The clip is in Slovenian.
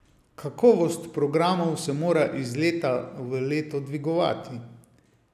Kakovost programov se mora iz leta v leto dvigovati.